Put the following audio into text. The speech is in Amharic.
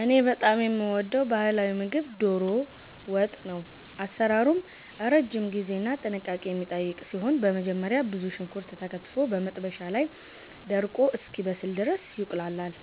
እኔ በጣም የምወደው ባህላዊ ምግብ 'ዶሮ ወጥ' ነው። አሰራሩም ረጅም ጊዜና ጥንቃቄ የሚጠይቅ ሲሆን፣ በመጀመሪያ ብዙ ሽንኩርት ተከትፎ በመጥበሻ ላይ ደርቆ እስኪበስል ድረስ ይቁላላል።